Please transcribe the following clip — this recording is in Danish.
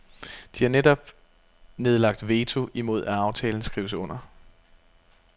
De har netop nedlagt veto imod at aftalen skrives under.